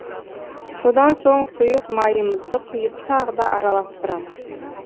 содан соң сұйық майымызды құйып тағы да араластырамыз